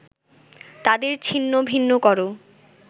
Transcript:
তাদের ছিন্নভিন্ন করো